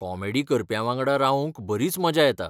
Comedy करप्यांवांगडा रावूंक बरीच मजा येता.